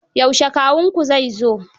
Yaushe kawunku zai zo?